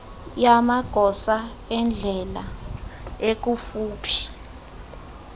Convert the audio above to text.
yamagosa endlela ekufuphi